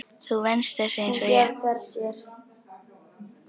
Þú venst þessu einsog ég.